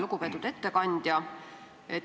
Lugupeetud ettekandja!